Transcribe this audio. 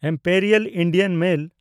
Imperial Indian mail